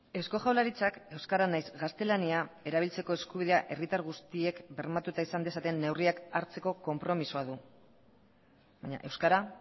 eusko jaurlaritzak euskara nahiz gaztelania erabiltzeko eskubidea herritar guztiek bermatuta izan dezaten neurriak hartzeko konpromisoa du baina euskara